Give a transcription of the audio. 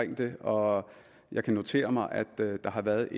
det og jeg kan notere mig at der har været